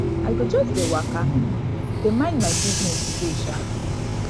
i go just dey waka dey mind my business today um